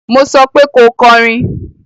Mo sọ pé ko kọrin